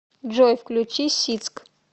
джой включи сик